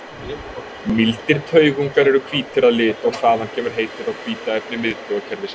Mýldir taugungar eru hvítir að lit og þaðan kemur heitið á hvíta efni miðtaugakerfisins.